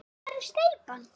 Hvar er steypan?